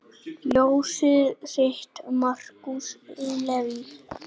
Ljósið þitt, Markús Leví.